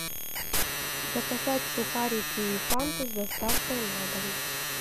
заказать сухарики и фанту с доставкой на дом